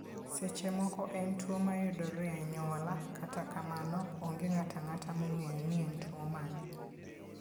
Seche moko en tuwo mayudore e anyuola, kata kamano, onge ng'ato ang'ata mong'eyo ni en tuwo mane.